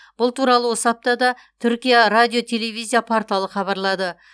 бұл туралы осы аптада түркия радио телевизия порталы хабарлады